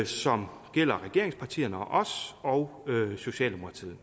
som gælder regeringspartierne og os og socialdemokratiet